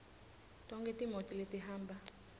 tonkhe timoti letihamba